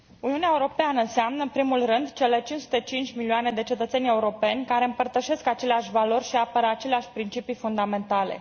Uniunea Europeană înseamnă, în primul rând, cele 505 milioane de cetățeni europeni care împărtășesc aceleași valori și apără aceleași principii fundamentale.